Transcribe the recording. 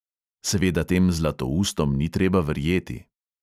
Seveda tem zlatoustom ni treba verjeti.